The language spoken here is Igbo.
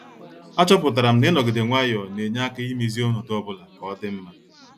A chọpụtara m na-inogide nwayọọ ne-enye aka imezi ọnọdụ ọbụla ka ọ dị mma.